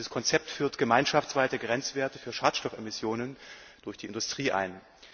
Dieses Konzept führt gemeinschaftsweite Grenzwerte für Schadstoffemissionen durch die Industrie ein.